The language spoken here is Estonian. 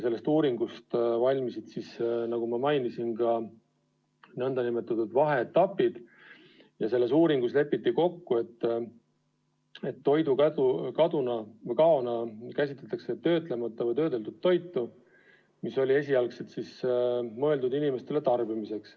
Seda uuringut tehti, nagu ma mainisin, vaheetappide kaupa ja selles uuringus lepiti kokku, et toidukaona käsitatakse töötlemata või töödeldud toitu, mis oli esialgselt mõeldud inimestele tarbimiseks.